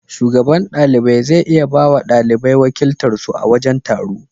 Shugaban ɗalibai zai iya bawa ɗalibai wakiltar su a wajen taro.